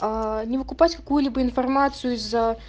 аа не выкупать какую-либо информацию из-за